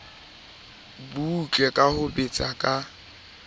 butle ka ho betsa ka